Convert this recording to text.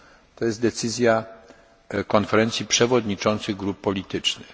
To jest decyzja Konferencji Przewodniczących Grup Politycznych.